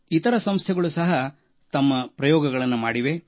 ಇತರ ಸಂಸ್ಥೆಗಳು ಸಹ ತಮ್ಮ ಪ್ರಯೋಗಗಳನ್ನು ಮಾಡಿವೆ